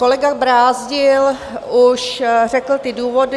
Kolega Brázdil už řekl ty důvody.